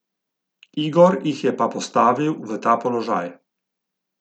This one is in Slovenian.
Igor jih je pa postavil v ta položaj.